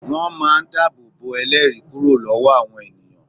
Wón máa ń dábòbò ẹlẹ́ẹ̀rí kúrò lọ́wọ́ àwọn ènìyàn